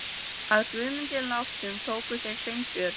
Að Guðmundi látnum tóku þeir Sveinbjörn